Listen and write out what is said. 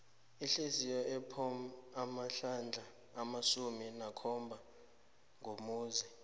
ihliziyo ipompa amahlandla amasumi akhombako ngomzuzu